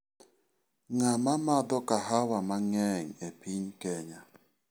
Ng'ama madho kahawa mang'eny e piny Kenya?